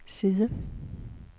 side